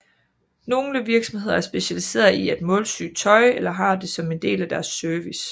Nogle virksomheder er specialiseret i at målsy tøj eller har det som en del af deres service